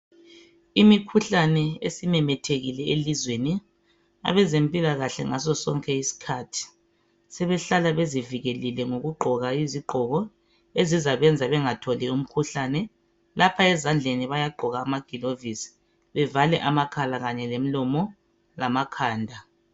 Imikhuhlane esimemethekile elizweni abezempilakahle ngasonsonke isikhathi sebehlala bezivikelile ngokugqoka izigqoko ezizabenza bengatholi umkhuhlane lapha esandleni bayagqoka amaglovisi bevale amakhala kanye lemlomo lamakhanda